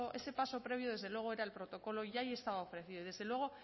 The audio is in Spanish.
ese paso previo desde luego era el protocolo y ahí estaba ofrecido y desde luego